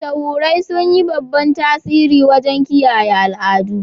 Mashahurai sun yi babban tasiri wajen kiyaye al'adu.